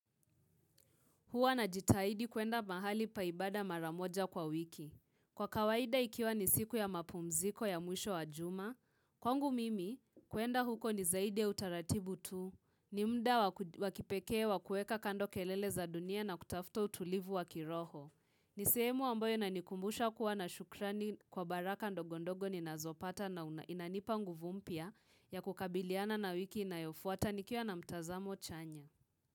Huwa najitahidi kuenda mahali pa ibada mara moja kwa wiki. Kwa kawaida ikiwa ni siku ya mapumziko ya mwisho wa juma, kwangu mimi kuenda huko ni zaidi ya utaratibu tu. Ni muda wa kipekee wakueka kando kelele za dunia na kutafuta utulivu wa kiroho. Ni sehemu ambayo inanikumbusha kuwa na shukrani kwa baraka ndogo ndogo ninazopata na inanipa nguvu mpya ya kukabiliana na wiki inayofuata nikiwa na mtazamo chanya.